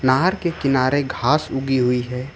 नहर के किनारे घास उगी हुई है।